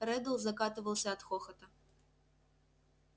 реддл закатывался от хохота